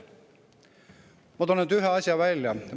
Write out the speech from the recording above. Ma toon ühe asja näiteks.